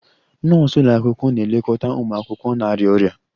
Nọọsụ ụlọ akwụkwọ na-elekọta ụmụ akwụkwọ na-arịa ọrịa